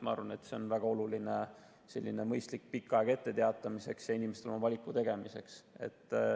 Ma arvan, et see on väga oluline, et selline mõistlik pikk aeg on etteteatamiseks, inimestel oma valiku tegemiseks.